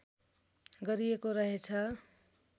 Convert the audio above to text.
गरिएको रहेछ